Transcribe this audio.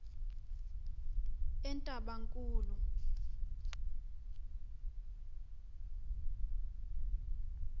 entabankulu